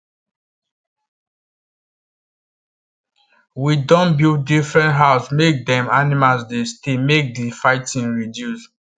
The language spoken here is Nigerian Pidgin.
we don build differnt house make them animals dey stay make the fighting reduce